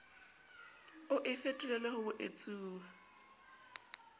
o e fetolele ho boetsuwa